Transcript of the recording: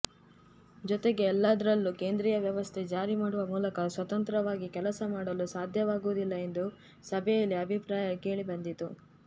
ಜತೆಗೆ ಎಲ್ಲದರಲ್ಲೂ ಕೇಂದ್ರೀಯ ವ್ಯವಸ್ಥೆ ಜಾರಿ ಮಾಡುವ ಮೂಲಕ ಸ್ವತಂತ್ರವಾಗಿ ಕೆಲಸ ಮಾಡಲು ಸಾಧ್ಯವಾಗುವುದಿಲ್ಲ ಎಂದು ಸಭೆಯಲ್ಲಿ ಅಭಿಪ್ರಾಯ ಕೇಳಿಬಂದಿತು